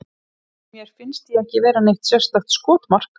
Mér finnst ég ekki vera neitt sérstakt skotmark.